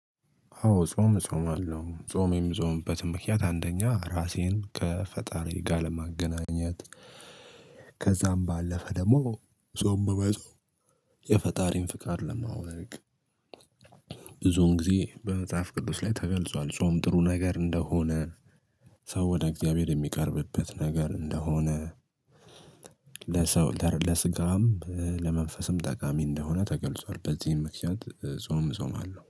አዎ ጾም እጾማለሁ ጾም የምጾምበትም ምክንያት አንደኛ ራሴን ከፈጣሪ ጋር ለማገናኘት ከዛም ባለፈ ደግሞ ጾም በመጾም የፈጣሪን ፍቃድ ለማወቅ። ብዙውን ጊዜ በመጽሐፍ ቅዱስ ላይ ተገልጿል ጾም ጥሩ ነገር እንደሆነ ሰው ወደ እግዚአብሔር የሚቀርብበት ነገር እንደሆነ ለሰው ለስጋም ለመንፈስም ጠቃሚ እንደሆነ ተገልጿል። በዚህም ምክንያት ጾም እጾማለው